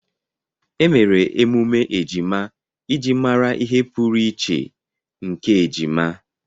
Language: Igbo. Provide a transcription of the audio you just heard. Emere emume ejima iji mara ihe pụrụiche nke ejima.